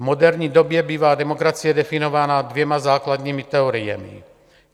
V moderní době bývá demokracie definována dvěma základními teoriemi.